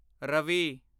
Ravi